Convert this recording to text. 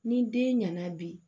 Ni den ɲɛna bi